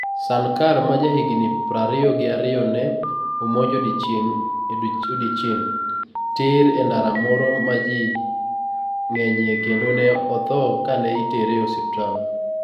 Sankar, ma jahigini prariyo gi ariyo, ne omonj e odiechieng ' tir e ndara moro ma ji ng'enyie kendo ne otho ka ne itere e osiptal.